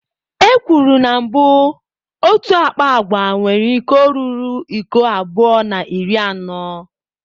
Ekwuru na mbụ otu akpa agwa nwere iko ruru iko abụọ na iri anọ.